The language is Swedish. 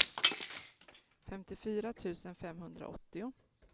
femtiofyra tusen femhundraåttio